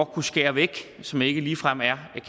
kunne skære væk som ikke ligefrem er